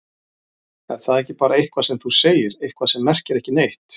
Er það ekki bara eitthvað sem þú segir, eitthvað sem merkir ekki neitt?